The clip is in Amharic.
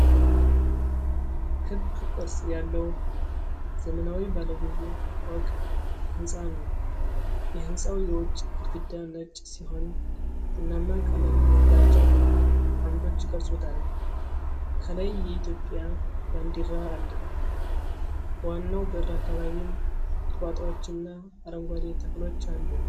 ክብ ቅርጽ ያለው ዘመናዊ ባለ ብዙ ፎቅ ሕንፃ ነው። የሕንፃው የውጭ ግድግዳ ነጭ ሲሆን፣ ቡናማ ቀለም ያላቸው አምዶች ይቀርጹታል። ከላይ የኢትዮጵያ ባንዲራ አለ፤ በዋናው በር አካባቢም ቁጥቋጦዎችና አረንጓዴ ተክሎች አሉ።